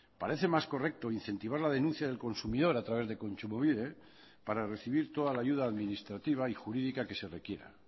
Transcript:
parece más correcto incentivar la denuncia del consumidor a través de kontsumobide para recibir toda la ayuda administrativa y jurídica que se requiera